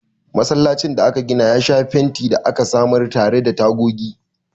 Masallacin da aka gina ya sha fenti da aka samar tare da tagogi.